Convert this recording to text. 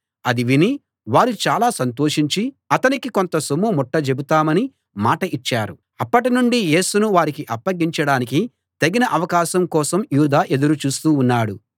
అది విని వారు చాలా సంతోషించి అతనికి కొంత సొమ్ము ముట్టజెపుతామని మాట ఇచ్చారు అప్పటినుండీ యేసును వారికి అప్పగించడానికి తగిన అవకాశం కోసం యూదా ఎదురు చూస్తూ ఉన్నాడు